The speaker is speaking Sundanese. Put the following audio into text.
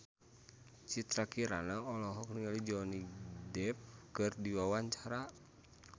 Citra Kirana olohok ningali Johnny Depp keur diwawancara